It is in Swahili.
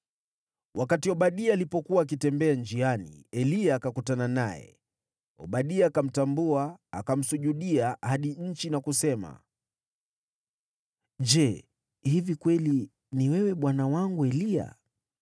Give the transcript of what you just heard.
Wakati Obadia alipokuwa akitembea njiani, Eliya akakutana naye. Obadia akamtambua, akamsujudia hadi nchi na kusema, “Je, hivi kweli ni wewe, bwana wangu Eliya?”